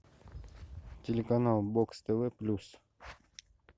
телеканал бокс тв плюс